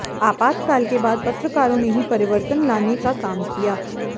आपातकाल के बाद पत्रकारों ने ही परिवर्तन लाने का काम किया